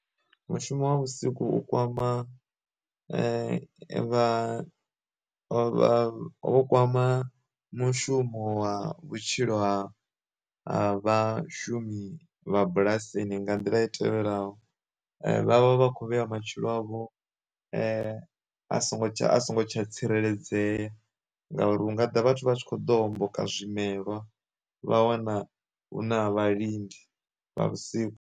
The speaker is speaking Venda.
Mushumo wa vhusiku kwama vha vha vho kwama mushumo wa vhutshilo ha vha vhashumi vha bulasini nga nḓila i tevhelaho, vhavha vha khou vhea matshilo avho a songo tsha a songo tsha tsireledzea ngauri u nga ḓa vhathu vha tshi kho ḓo homboka zwimelwa vha wana hu na vha lindi vha vhusiku.